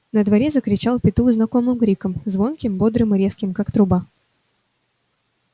на дворе закричал петух знакомым криком звонким бодрым и резким как труба